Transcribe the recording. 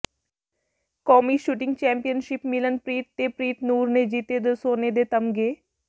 ਕੌਮੀ shooting championship Milanpreet ਤੇ ਪ੍ਰੀਤਨੂਰ ਨੇ ਜਿੱਤੇ ਦੋ ਸੋਨੇ ਦੇ ਤਮਗ਼ੇ